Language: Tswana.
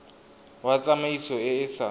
wa tsamaiso e e sa